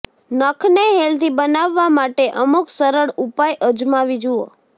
નખને healthy બનાવવા માટે અમુક સરળ ઉપાય અજમાવી જુઓ